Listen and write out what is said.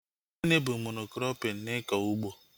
Gịnị bụ Mono-krọpin n'ikọ ugbo?